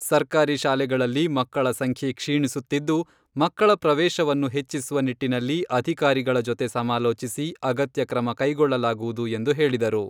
ಸರ್ಕಾರಿ ಶಾಲೆಗಳಲ್ಲಿ ಮಕ್ಕಳ ಸಂಖ್ಯೆ ಕ್ಷೀಣಿಸುತ್ತಿದ್ದು, ಮಕ್ಕಳ ಪ್ರವೇಶವನ್ನು ಹೆಚ್ಚಿಸುವ ನಿಟ್ಟಿನಲ್ಲಿ ಅಧಿಕಾರಗಳ ಜೊತೆ ಸಮಾಲೋಚಿಸಿ, ಅಗತ್ಯ ಕ್ರಮ ಕೈಗೊಳ್ಳಲಾಗುವುದು ಎಂದು ಹೇಳಿದರು.